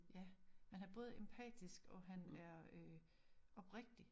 Ja men han er både empatisk og han er øh oprigtig